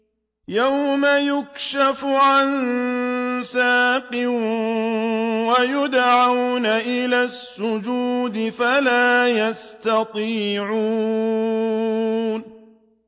يَوْمَ يُكْشَفُ عَن سَاقٍ وَيُدْعَوْنَ إِلَى السُّجُودِ فَلَا يَسْتَطِيعُونَ